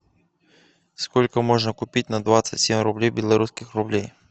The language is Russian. сколько можно купить на двадцать семь рублей белорусских рублей